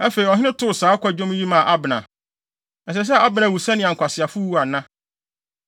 Afei, ɔhene too saa kwadwom yi maa Abner: “Ɛsɛ sɛ Abner wu sɛnea nkwaseafo wu ana?